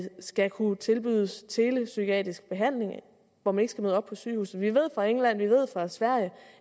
skal kunne tilbydes telepsykiatrisk behandling hvor man ikke skal møde op på sygehuset vi ved fra england og vi ved fra sverige